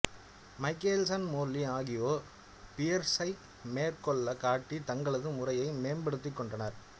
Michelson Morley ஆகியோர் பியர்ஸை மேற்கோள் காட்டி தங்களது முறையை மேம்படுத்திக் கொண்டனர்